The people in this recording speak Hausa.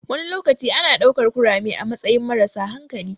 Wani lokaci ana ɗaukar kurame a matsayin marasa hankali.